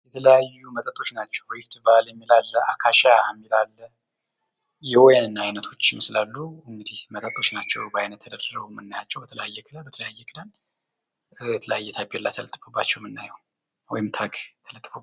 የተለያዩ መጠጦች ናቸው ።ሪፍት ቫሊ እሚል አለ፤ አካሺያ እሚል አለ የወይን አይነቶች ይመስላሉ እንግዲህ መጠጦች ናቸው በአይነት ተደርድረው የምናያቸው የተለያዩ ታፔላ ተስፋባቸዋል የምናየው ወይም ታግ ማለት ነው።